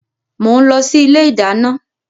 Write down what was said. Mo ń lọ sí ilé ìdáná.